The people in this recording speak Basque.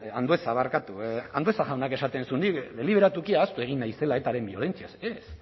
andueza barkatu andueza jaunak esaten zuen deliberatuki ahaztu egin naizela etaren biolentziaz ez